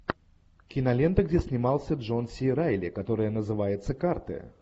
кинолента где снимался джон си райли которая называется карты